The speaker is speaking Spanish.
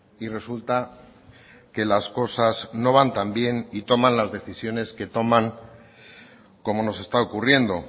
y resulta que las cosas no van tan bien y toman las decisiones que toman como nos está ocurriendo